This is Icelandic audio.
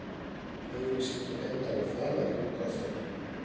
Auglýsingin endar á safaríkum kossi.